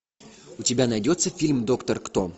у тебя найдется фильм доктор кто